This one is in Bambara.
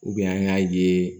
an y'a ye